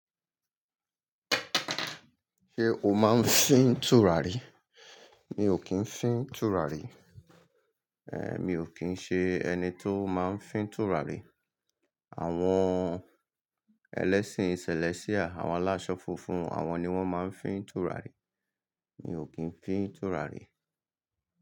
Ṣé o máa ń fín tùràrí? Mi ò kí ń fín tùràrí. Ehn, mi ò kín ṣe ẹni tó máa ń fín tùràrí. Àwọn ẹlẹ́sìn sẹ̀lẹ́síà, àwọn aláṣọ funfun, àwọn ni wọ́n máa ń fín tùràrí. Mi ò kín fín tùràrí.